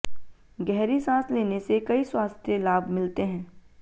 गहरी सांस लेने से कई स्वास्थ्य लाभ मिलते हैं